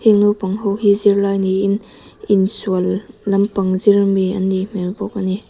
school naupang ho hi zirlai niin insual lampang zir mi an nih hmêl bawk a ni.